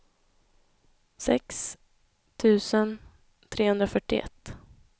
sex tusen trehundrafyrtioett